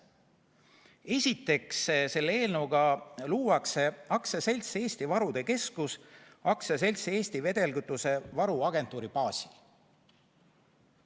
Esiteks, selle eelnõuga luuakse AS Eesti Varude Keskus AS-i Eesti Vedelkütusevaru Agentuur baasil.